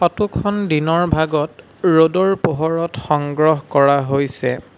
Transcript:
Photo খন দিনৰ ভাগত ৰ'দৰ পোহৰত সংগ্ৰহ কৰা হৈছে।